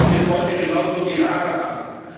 Dieses wird heute genauso die Rada machen.